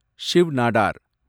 Shiv Nadar